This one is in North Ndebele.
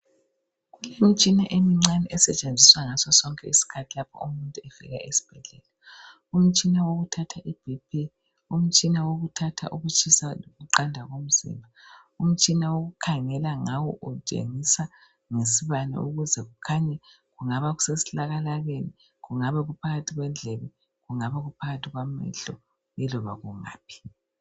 Kulemitshina emincane esetshenziswa ngasosonke isikhathi lapho umuntu efika esibhedlela umtshina wokuthatha iBp umtshina wokuthatha ukutshisa lokuqanda komzimba umtshina okukhangelwa ngawo utshengisa ngesibani ukuze kukhanye kungaba kuse silakalakeni kungaba kuphakathi kwendlebe kungaba kuphakathi kwamehlo iloba kungaphi.